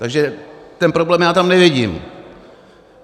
Takže ten problém já tam nevidím.